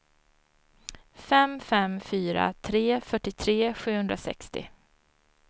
fem fem fyra tre fyrtiotre sjuhundrasextio